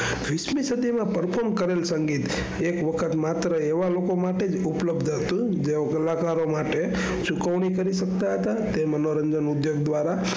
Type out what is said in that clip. સંગીત એક વખત માત્ર એવા લોકો માટે જ ઉપલબ્દ હતું જેવા કલાકારો માટે ચુકવણી કરી સકતા હતા તે મનોરંજન ઉજ્જૈન દ્વારા,